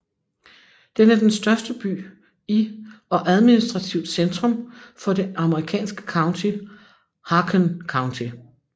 Den er den største by i og administrativt centrum for det amerikanske county Haakon County